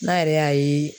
N'a yɛrɛ y'a ye